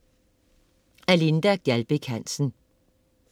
Af Linda Gjaldbæk Hansen